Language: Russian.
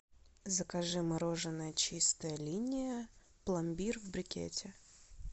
закажи мороженое чистая линия пломбир в брикете